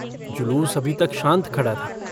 जुलूस अभी तक शान्त खड़ा था।